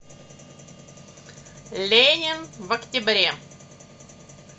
ленин в октябре